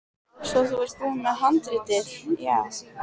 Svo þú ert búinn með handritið, já.